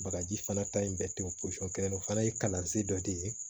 Bagaji fana ta in bɛɛ ten posɔn kelen o fana ye kalansen dɔ de ye